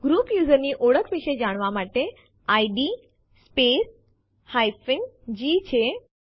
જેમ તમે જોઈ શકો છો કે ચેતવણી આપવામાં આવેલ છે જે પૂછે છે ટેસ્ટ2 ઓવરરાઇટ કરવું છે કે નહિ